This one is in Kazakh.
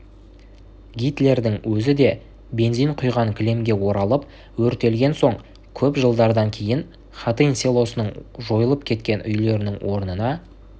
гитлердің өзі де бензин құйған кілемге оралып өртелген соң көп жылдардан кейін хатынь селосының жойылып кеткен үйлерінің орнына